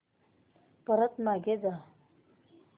परत मागे जा